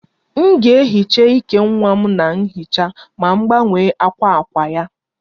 M ga-ehicha íkè nwa m na nhicha ma m gbanwe akwa akwa ya